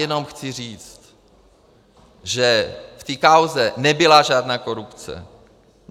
Jenom chci říct, že v této kauze nebyla žádná korupce.